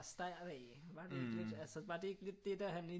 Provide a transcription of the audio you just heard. Start af var det ikke lidt altså var det ikke lidt det der